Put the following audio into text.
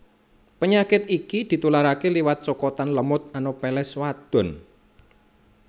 Penyakit iki ditularaké liwat cokotan lemut Anopheles wadon